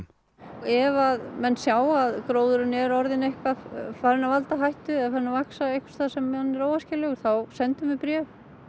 ef menn sjá að gróður er farinn að valda hættu eða vaxa þar sem hann er óæskilegur þá sendum við bréf